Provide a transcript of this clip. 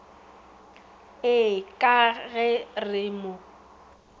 ee ka ge re mo